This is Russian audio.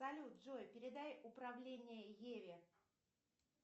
салют джой передай управление еве